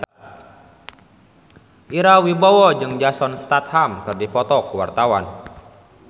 Ira Wibowo jeung Jason Statham keur dipoto ku wartawan